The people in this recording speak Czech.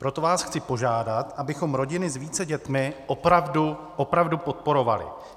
Proto vás chci požádat, abychom rodiny s více dětmi opravdu, opravdu podporovali.